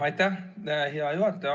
Aitäh, hea juhataja!